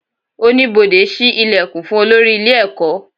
Oníbodè ṣí ìlẹ̀kùn fún olórí ilé ẹ̀kọ́